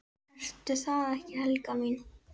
Ertu það ekki, Helga mín?